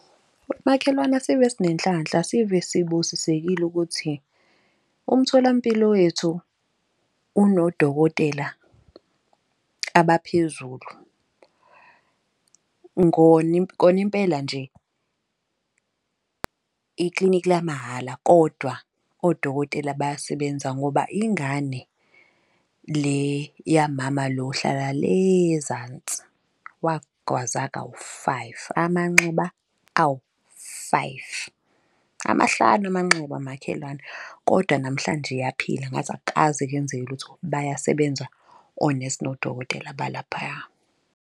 Makhelwana asive sinenhlanhla, asive sibusisekile ukuthi umtholampilo wethu unodokotela abaphezulu. Koni impela nje iklinikhi lamahhala kodwa odokotela bayasebenza ngoba ingane le yamama lo ohlala le ezansi. Wagwaza kawu-five amanxeba, awu-five amahlanu amanxeba makhelwane. Kodwa namhlanje iyaphila ngathi akukaze kwenzeke lutho, bayasebenza onesi nodokotela balaphaya.